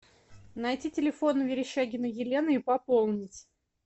найти телефон верещагиной елены и пополнить